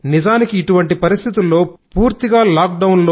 నిజానికి ఇటువంటి పరిస్థితుల్లో పూర్తిగా లాక్ డౌన్